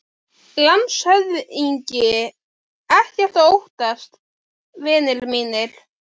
LANDSHÖFÐINGI: Ekkert að óttast, vinir mínir.